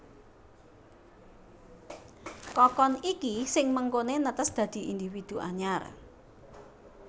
Kokon iki sing mengkoné netes dadi individu anyar